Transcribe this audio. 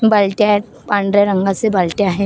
बालट्या आहेत पांढऱ्या रंगाचे बालट्या आहेत .